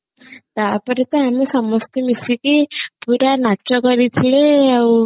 ତାପରେ ତ ଆମେ ସମସ୍ତେ ମିଶିକି ପୁରା ନାଚ କରିଥିଲେ ଆଉ